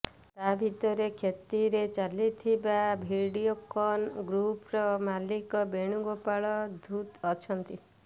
ତା ଭିତରେ କ୍ଷତିରେ ଚାଲିଥିବା ଭିଡିଓକନ୍ ଗ୍ରୁପ୍ର ମାଲିକ ବେଣୁଗୋପାଳ ଧୂତ୍ ଅଛନ୍ତି